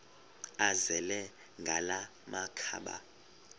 azele ngala makhaba